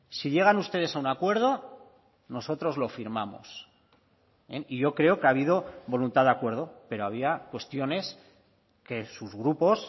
si llegan ustedes a un acuerdo nosotros lo firmamos y yo creo que ha habido voluntad de acuerdo pero había cuestiones que sus grupos